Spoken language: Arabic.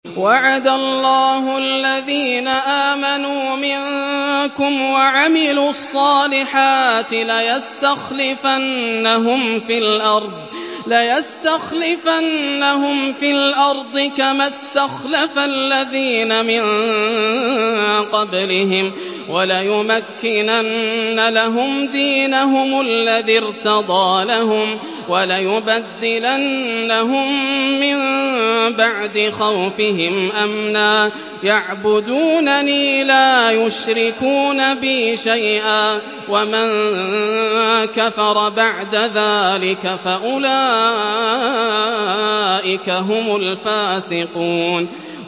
وَعَدَ اللَّهُ الَّذِينَ آمَنُوا مِنكُمْ وَعَمِلُوا الصَّالِحَاتِ لَيَسْتَخْلِفَنَّهُمْ فِي الْأَرْضِ كَمَا اسْتَخْلَفَ الَّذِينَ مِن قَبْلِهِمْ وَلَيُمَكِّنَنَّ لَهُمْ دِينَهُمُ الَّذِي ارْتَضَىٰ لَهُمْ وَلَيُبَدِّلَنَّهُم مِّن بَعْدِ خَوْفِهِمْ أَمْنًا ۚ يَعْبُدُونَنِي لَا يُشْرِكُونَ بِي شَيْئًا ۚ وَمَن كَفَرَ بَعْدَ ذَٰلِكَ فَأُولَٰئِكَ هُمُ الْفَاسِقُونَ